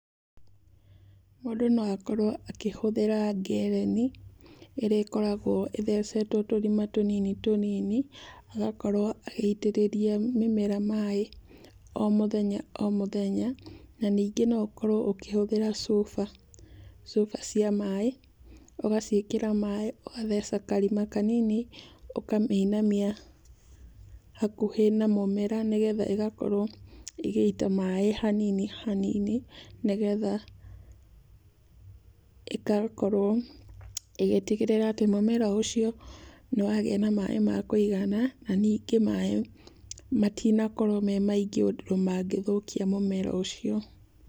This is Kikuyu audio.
Mũndũ no akorwo akĩhũthĩra ngereni ĩrĩa ĩkoragwo ĩthecetwo tũrima tũnini tũnini, agakorwo agĩitĩrĩria mĩmera maaĩ o mũthenya o mũthenya, na ningĩ no ũkorwo ũkihũthĩra cuba. Cuba cia maaĩ, ũgaciĩkĩra maaĩ, ũgatheca karima kanini, ũkamĩinia hakuhĩ na mũmera nĩgetha ĩgakorwo ĩgĩita maaĩ hanini hanini, nĩgetha ĩgakorwo ĩgĩtigĩrĩra atĩ mumera ũcio nĩwagĩa maaĩ ma kũigana na ningĩ maaĩ matinakorwo me maingĩ ũndũ mangĩthũkia mũmera ũcio.